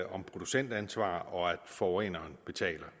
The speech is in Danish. om producentansvar og om at forureneren betaler